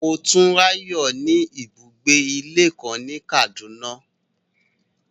Motunrayo ni ibugbe-ìlé kan ni Kaduna